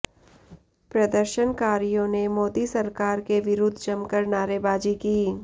प्रदर्शनकारियों ने मोदी सरकार के विरुद्ध जमकर नारेबाजी की